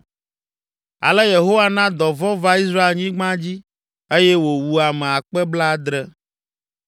Ale Yehowa na dɔvɔ̃ va Israelnyigba dzi eye wòwu ame akpe blaadre (70,000).